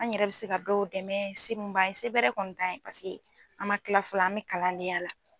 An yɛrɛ bɛ se ka dɔw dɛmɛ se mun ba ye, se bɛɛrɛ kɔni tan ɲɛ paseke an ma kila fɔlɔ an bɛ kalan den ya la.